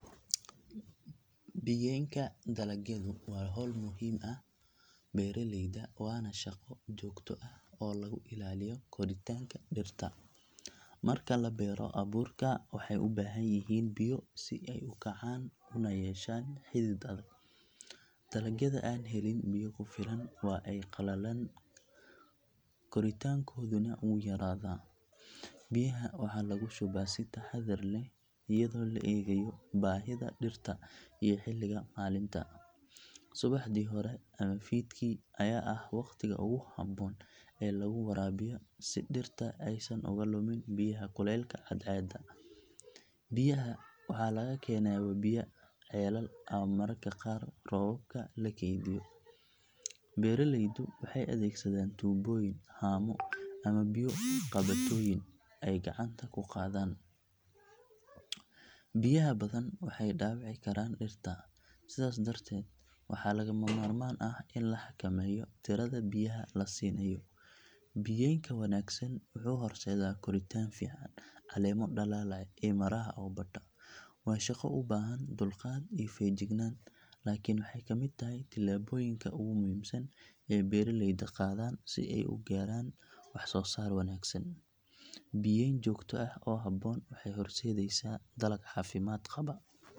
Biyaynka dalagyadu waa hawl muhiim u ah beeraleyda waana shaqo joogto ah oo lagu ilaaliyo koritaanka dhirta. Marka la beero abuurka waxay u baahan yihiin biyo si ay u kacaan una yeeshaan xidid adag. Dalagyada aan helin biyo ku filan waa ay qalalaan koritaankooduna wuu yaraadaa. Biyaha waxaa lagu shubaa si taxaddar leh iyadoo la eegayo baahida dhirta iyo xilliga maalinta. Subaxdii hore ama fiidkii ayaa ah waqtiga ugu habboon ee lagu waraabiyo si dhirta aysan uga luman biyaha kulaylka cadceedda. Biyaha waxaa laga keenaa webiyo, ceelal ama mararka qaar roobabka la kaydiyo. Beeraleydu waxay adeegsadaan tuubooyin, haamo ama biyo qabatooyin ay gacanta ku qaadaan. Biyaha badan waxay dhaawici karaan dhirta sidaas darteed waxaa lagama maarmaan ah in la xakameeyo tirada biyaha la siinayo. Biyaynka wanaagsan wuxuu horseedaa koritaan fiican, caleemo dhalaalaya iyo miraha oo bata. Waa shaqo u baahan dulqaad iyo feejignaan laakiin waxay ka mid tahay tallaabooyinka ugu muhiimsan ee beeraleydu qaadaan si ay u gaaraan waxsoosaar wanaagsan. Biyayn joogto ah oo habboon waxay horseedaysaa dalag caafimaad qaba.